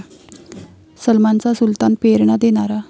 सलमानचा 'सुलतान' प्रेरणा देणारा'